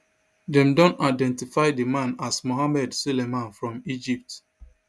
dem don identify di man as mohamed soliman from egypt